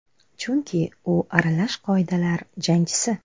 Chunki u aralash qoidalar jangchisi.